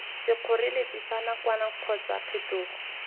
sekgoreletsi sa nakwana kgotsa phetogo